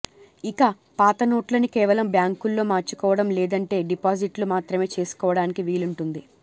ఇక పాతనోట్లని కేవలం బ్యాంకుల్లో మార్చుకోవడం లేదంటే డిపాజిట్లు మాత్రమే చేసుకోవడానికి వీలుంటుంది